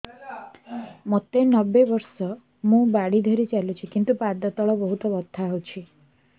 ମୋତେ ନବେ ବର୍ଷ ମୁ ବାଡ଼ି ଧରି ଚାଲୁଚି କିନ୍ତୁ ପାଦ ତଳ ବହୁତ ବଥା ହଉଛି